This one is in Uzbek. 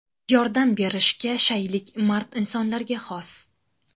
Yordam berishga shaylik mard insonlarga xos.